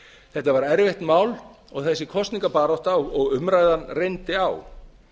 þetta var erfitt mál og þessi kosningabarátta og umræðan reyndi á